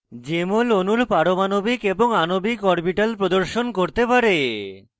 jmol অণুর পারমাণবিক এবং আণবিক orbitals প্রদর্শন করতে পারে